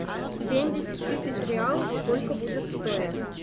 семьдесят тысяч реалов сколько будет стоить